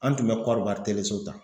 An tun bɛ kɔribari so ta.